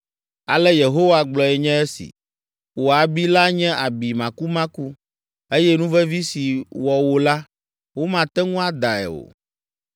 “Ale Yehowa gblɔe nye esi: “ ‘Wò abi la nye abi makumaku, eye nuvevi si wɔ wò la, womate ŋu adae o.